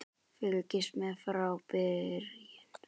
Fylgist með frá byrjun!